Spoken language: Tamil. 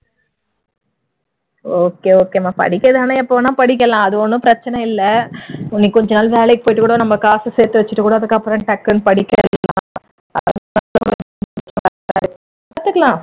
okay okay மா படிக்கிறது என்ன எப்ப வேணாலும் படிக்கலாம் ஒன்னும் பிரச்சனை இல்ல இன்னும் கொஞ்ச நாள் வேலைக்கு போயிட்டு இன்னும் கொஞ்ச நாள் வேலைக்கு போய்ட்டு கூட நம்ம காசு சேர்த்து வச்சிட்டு கூட அதுக்கப்புறம் டக்குனு படிக்க ஆரம்பிக்கலாம் பாத்துக்கலாம்